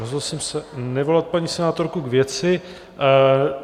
Rozhodl jsem se nevolat paní senátorku k věci.